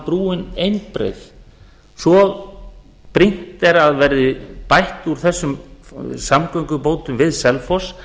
brúin einbreið svo brýnt er að verði bætt úr þessum samgöngubótum við selfoss